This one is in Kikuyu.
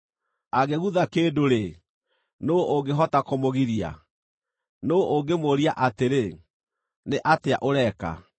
Angĩgutha kĩndũ-rĩ, nũũ ũngĩhota kũmũgiria? Nũũ ũngĩmũũria atĩrĩ, ‘Nĩ atĩa ũreka?’